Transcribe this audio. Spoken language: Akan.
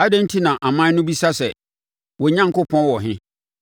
Adɛn enti na aman no bisa sɛ, “Wɔn Onyankopɔn wɔ he?”